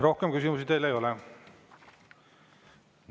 Rohkem küsimusi teile ei ole.